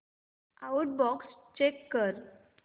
outbox check कर